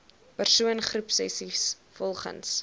persoon groepsessies volgens